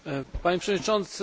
Panie Przewodniczący!